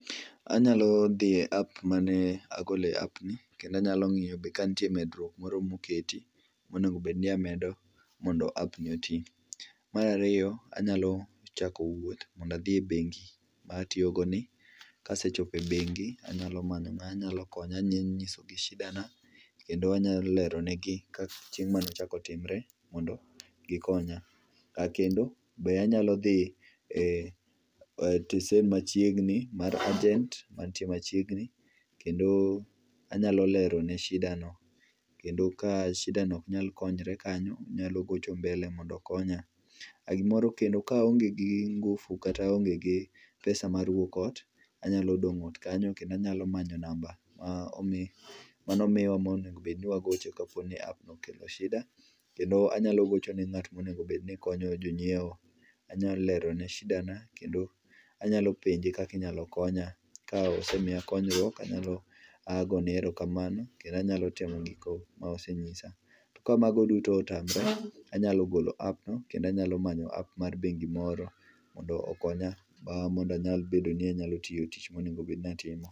Anyalo dhie app mane agole app ni kendo anyalo ng'iyo kantie medruok moro moketi monego bedni amedo mondo app ni otii. Marariyo anyalo chako wuoth mondo adhi e bengi matiyogoni kasechopo ebengi anyamanyo ng'ama nyalo konya mondanyise shidana kendo anyalero negi chieng manaochako timre mondo gikonya. Kendo be anyalo dhii e tesen machiegni mar agent mantie machiegni kendoo anyalero ne shida no kendo ka shida no ok nyal konyre kanyo anyalo gocho mbele mondo okonya gimoro kendo kaonge gi ngufu kata aonge gi pesa anyalo dong ot kanyo kendo anyao manyo namba manomiwa monengo bedni wagoche kapp no okelo shida kendo anyalo gochone ng'at monegobedni konyo jonyieo kendo anyalo lero ne shidana kendo anyalo penje kaka inyal konya kosemiya konyruok, anyalo gone erokamano kendo anyalo temo gigo mosenyisa tokamago duto otamore to anyalo golo app no kendo anyalo manyo app mar bengi moro mondo okonya mondo anyalo bedo ni anyalo timo tich monengo bed ni atimo